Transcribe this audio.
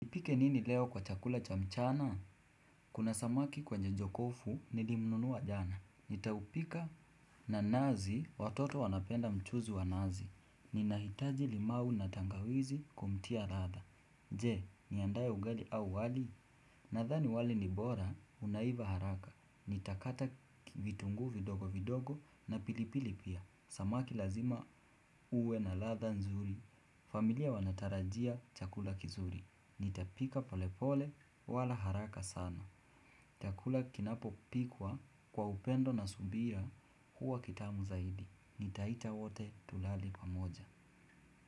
Nipike nini leo kwa chakula cha mchana? Kuna samaki kwenye jokofu, nilimnunua jana. Nitaupika na nazi, watoto wanapenda mchuzi wa nazi. Ninahitaji limau na tangawizi kumtia radha. Je, niandae ugali au wali? Nadhani wali ni bora, unaiva haraka. Nitakata vitunguu vidogovidogo na pilipili pia. Samaki lazima uwe na ladha nzuri. Familia wanatarajia chakula kizuri. Nitapika polepole wala haraka sana chakula kinapopikwa kwa upendo na subira huwa kitamu zaidi. Nitaita wote tulale pamoja.